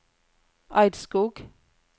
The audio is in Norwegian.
Eidskog